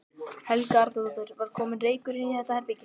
Helga Arnardóttir: Var kominn reykur inn í þetta herbergi?